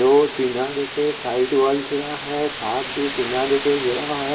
रोटी ना देखे side wall किना है।